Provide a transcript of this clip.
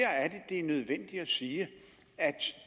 er nødvendigt at sige at